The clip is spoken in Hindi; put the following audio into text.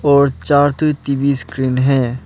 और चार ठो टी_वी स्क्रीन है।